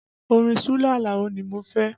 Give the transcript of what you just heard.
Orin Sule Alao ni mo fẹ́